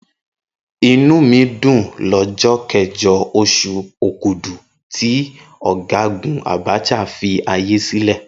Inú mi dùn lọ́jọ́ kẹjọ, oṣù Òkudù tí Ọ̀gágùn Abacha filé ayé sílẹ̀.